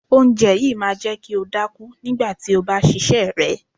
Oúnjẹ yìí máa jẹ́ kí o dákú nígbà tí o bá ṣíṣe rẹ.